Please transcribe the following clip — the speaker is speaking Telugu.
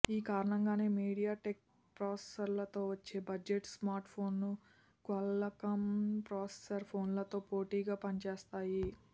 ఈ కారణంగానే మీడియాటెక్ ప్రాసెసర్లతో వచ్చే బడ్జెట్ స్మార్ట్ఫోన్లు క్వాల్కమ్ ప్రాసెసర్ ఫోన్లతో పోటీగా పనిచేస్తాయి